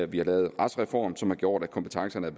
vi har lavet retsreform som har gjort at kompetencerne er